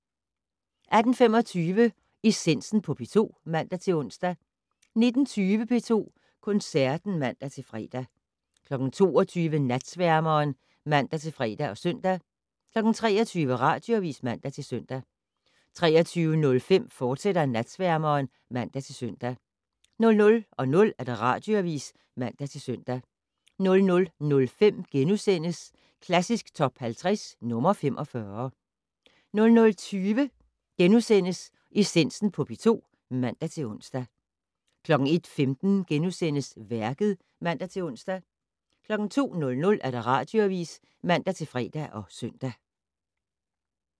18:25: Essensen på P2 (man-ons) 19:20: P2 Koncerten (man-fre) 22:00: Natsværmeren (man-fre og søn) 23:00: Radioavis (man-søn) 23:05: Natsværmeren, fortsat (man-søn) 00:00: Radioavis (man-søn) 00:05: Klassisk Top 50 - nr. 45 * 00:20: Essensen på P2 *(man-ons) 01:15: Værket *(man-ons) 02:00: Radioavis (man-fre og søn)